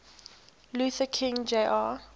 luther king jr